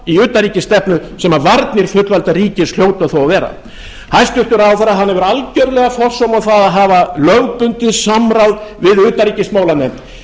í utanríkisstefnu sem varnir fullvalda ríkis hljóta þó að vera hæstvirtur ráðherra hefur algerlega forsómað það að hafa lögbundið samráð við utanríkismálanefnd